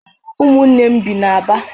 Ụmụnne m bi n'Aba